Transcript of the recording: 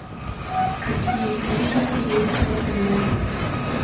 какие клиники есть в отеле